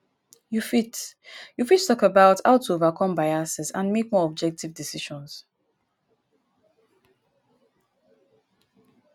you fit you fit talk about how to overcome biases and make more objective decisions.